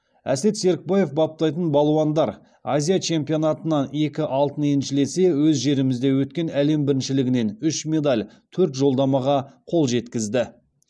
әсет серікбаев баптайтын балуандар азия чемпионатынан екі алтын еншілесе өз жерімізде өткен әлем біріншілігінен үш медаль төрт жолдамаға қол жеткізді